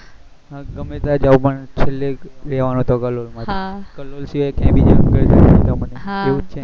હું ગમે ત્યાં જ્યું પણ છેલે રેહવાનું તો કલોલ માં જ કલોલ સિવાય કઈ બીજે મને એવું છે ને